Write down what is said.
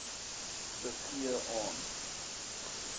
te gee aan